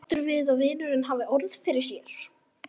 Sáttur við að vinurinn hafi orð fyrir sér.